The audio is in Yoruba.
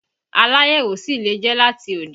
Aláyẹ̀wò sì lè jẹ́ láti òde